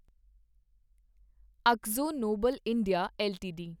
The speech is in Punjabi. Akzo Nobel India LTD